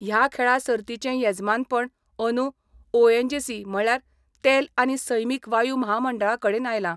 ह्या खेळा सर्तीचें येजमानपण अंदू ओएनजीसी म्हणल्यार तेल आनी सैमीक वायू म्हामंडळा कडेन आयलां.